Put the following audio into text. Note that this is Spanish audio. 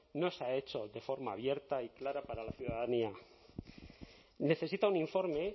no se ha hecho de forma abierta y clara para la ciudadanía necesita un informe